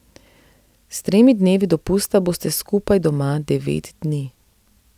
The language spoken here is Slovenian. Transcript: S tremi dnevi dopusta boste skupaj doma devet dni.